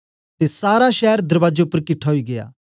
ते सारा शैर दरबाजे उपर किट्ठा ओई गीया